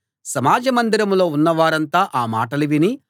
సమాజ మందిరంలో ఉన్నవారంతా ఆ మాటలు విని